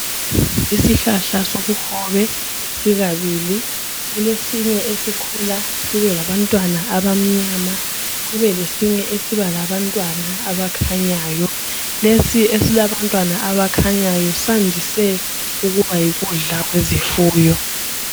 Isihlahla sobuhobe sikabili Kulesinye esikhula sibe labantwana abamnyama kube lesinye esiba labantwana abakhanyayo. Lesi esilabantwana abakhanyayo sandise ukuba yikudla kwezifuyo